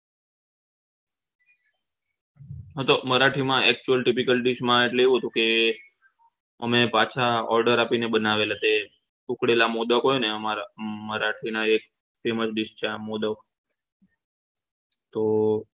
હું તો મરાઠી માં actual tropical dies માં એવું હતું કે અમે પાછા order આપીને બનાવેલા તે ઉખડેલા મોદક હોય અમારા મરાઠી ના એક famous dies છે આ મોદક તો